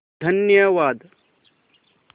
धन्यवाद